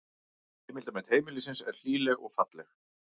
Heildarmynd heimilisins er hlýleg og falleg